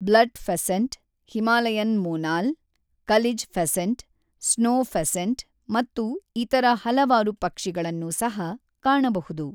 Blood pheasant, Himalayan monal, kalij pheasant, snow pheasant ಮತ್ತು ಇತರ ಹಲವಾರು ಪಕ್ಷಿಗಳನ್ನು ಸಹ ಕಾಣಬಹುದು.